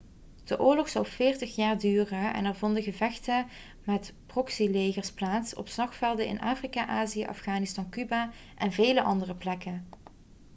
de oorlog zou 40 jaar duren en er vonden gevechten met proxylegers plaats op slagvelden in afrika azië afghanistan cuba en vele andere plekken